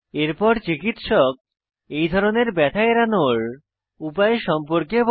এরপর চিকিৎসক এই ধরনের ব্যথা এড়ানোর উপায় সম্পর্কে বলে